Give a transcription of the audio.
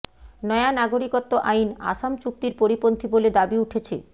নয়া নাগরিকত্ব আইন আসাম চুক্তির পরিপন্থী বলে দাবি উঠেছে